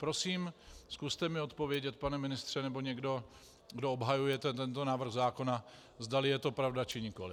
Prosím, zkuste mi odpovědět, pane ministře, nebo někdo, kdo obhajujete tento návrh zákona, zdali je to pravda, či nikoliv.